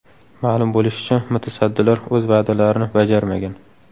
Ma’lum bo‘lishicha, mutasaddilar o‘z va’dalarini bajarmagan.